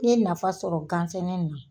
N ye nafa sɔrɔ gansɛnɛ in na.